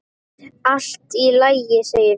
Allt í lagi, segir hún.